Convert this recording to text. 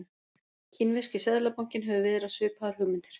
Kínverski seðlabankinn hefur viðrað svipaðar hugmyndir.